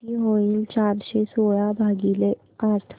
किती होईल चारशे सोळा भागीले आठ